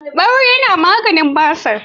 Ɓaure na maganin basir.